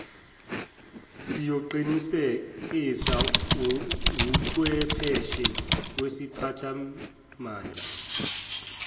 siyoqinisekiswa wuchwepheshe wesiphathimandla